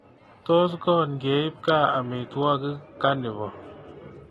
Tos goon keiip gaa amitwogik kanivo